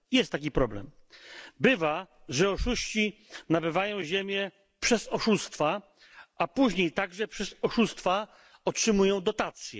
Jest taki problem bywa, że oszuści nabywają ziemię przez oszustwa, a później także przez oszustwa otrzymują dotacje.